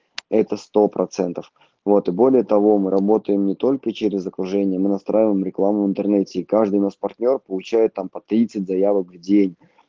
это сто процентов вот и более того мы работаем не только через окружение мы настраиваем рекламу в интернете и каждый наш партнёр получает там по тридцать заявок в день